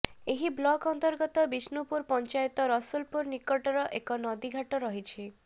ଏହି ବ୍ଲକ ଅନ୍ତର୍ଗତ ବିଷ୍ଣୁପୁର ପଞ୍ଚାୟତ ରସଲପୁର ନିକଟରେ ଏକ ନଦୀଘାଟ ରହିଛି